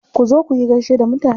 Ku zo kuyi gaishe da mutane.